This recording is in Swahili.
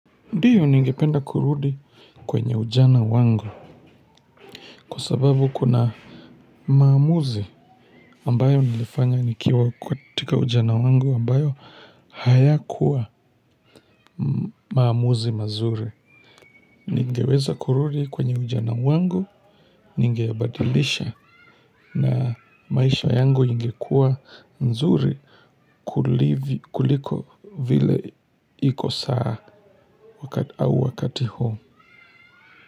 Ndiyo ningependa kurudi kwenye ujana wangu kwa sababu kuna maamuzi ambayo nilifanya nikiwa katika ujana wangu ambayo hayakuwa maamuzi mazuri. Ningeweza kurudi kwenye ujana wangu, ningebadilisha na maisha yangu ingekuwa nzuri kuliko vile iko saa au wakati huu.